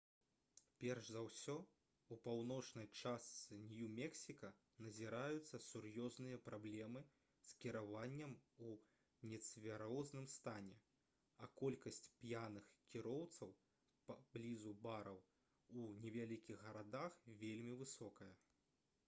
перш за ўсе у паўночнай частцы нью-мексіка назіраюцца сур'ёзныя праблемы з кіраваннем у нецвярозым стане а колькасць п'яных кіроўцаў паблізу бараў у невялікіх гарадах вельмі высокая